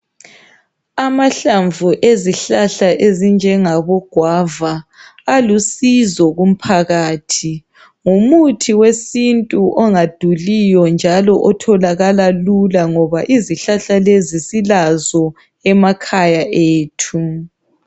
Amahlamvu ezihlahla ezinjengabo gauva alusizo kumphakathi ngumuthi wesintu ongaduliyo njalo otholakala lula ngoba izihlahla lezi silazo emakhaya ethu